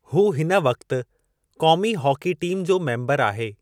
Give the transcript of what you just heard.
हू हिन वक़्ति क़ोमी हॉकी टीम जो मेम्बरु आहे।